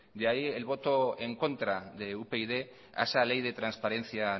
de ahí el voto en contra de upyd a esa ley de transparencia